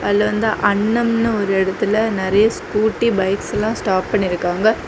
இதுல வந்து அண்ணம்னு ஒரு இடத்துல நிறைய ஸ்கூட்டி பைக்ஸ் எல்லாம் ஸ்டாப் பண்ணிருக்காங்க.